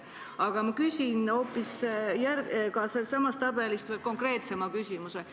Aga ma küsin sellesama tabeli kohta veel konkreetsema küsimuse.